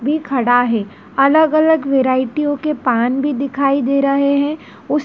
भी खड़ा है अलग-अलग वैरायटियों के पान भी दिखाई दे रहे हैं उस --